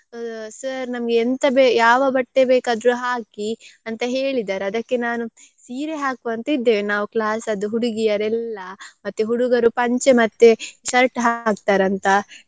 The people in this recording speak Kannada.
Sir ನಮ್ಗೆ ಎಂತ ಬೇ~ ಯಾವ ಬಟ್ಟೆ ಬೇಕಾದರೂ ಹಾಕಿ ಅಂತ ಹೇಳಿದ್ದಾರೆ ಅದಕ್ಕೆ ನಾನು ಸೀರೆ ಹಾಕುವ ಅಂತ ಇದ್ದೇವೆ ನಾವು class ಅದ್ದು ಹುಡಿಗಿಯರೆಲ್ಲ ಮತ್ತೆ ಹುಡುಗರು ಪಂಚೆ ಮತ್ತೆ shirt ಹಾಕ್ತಾರಂತ.